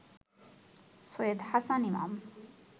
Syed Hasan Imam